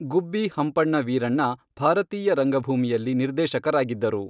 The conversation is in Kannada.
ಗುಬ್ಬಿ ಹಂಪಣ್ಣ ವೀರಣ್ಣ ಭಾರತೀಯ ರಂಗಭೂಮಿಯಲ್ಲಿ ನಿರ್ದೇಶಕರಾಗಿದ್ದರು.